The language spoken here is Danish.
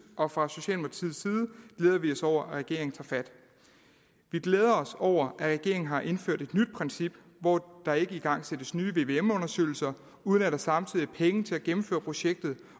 og fra socialdemokratiets side glæder vi os over at regeringen tager fat vi glæder os over at regeringen har indført et nyt princip hvor der ikke igangsættes nye vvm undersøgelser uden at der samtidig er penge til at gennemføre projektet